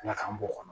Ala k'an b'o kɔnɔ